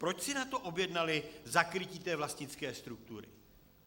Proč si na to objednali zakrytí té vlastnické struktury?